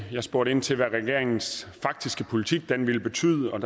jeg spurgte ind til hvad regeringens faktiske politik ville betyde og